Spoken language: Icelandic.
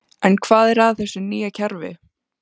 En hvað er að þessu nýja kerfi?